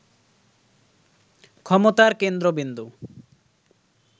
ক্ষমতার কেন্দ্রবিন্দু